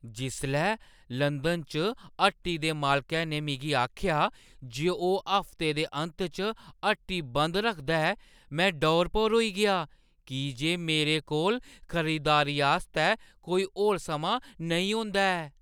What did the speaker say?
जिसलै लंदन च हट्टी दे मालकै ने मिगी आखेआ जे ओह्‌ हफ्ते दे अंत च हट्टी बंद रखदा ऐ, में डौर-भौर होई गेआ की जे मेरे कोल खरीदारी आस्तै कोई होर समां नेईं होंदा ऐ, ।